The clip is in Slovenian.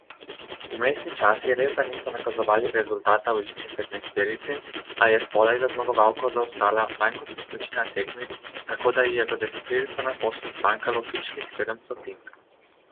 Vmesni časi resda niso nakazovali rezultata v elitni petnajsterici, a je spodaj za zmagovalko zaostala manj kot večina tekmic, tako da ji je za deseterico naposled zmanjkalo pičlih sedem stotink.